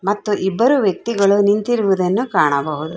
ಮತ್ತು ಇಬ್ಬರು ವ್ಯಕ್ತಿಗಳು ನಿಂತಿರುವುದನ್ನು ಕಾಣಬಹುದು.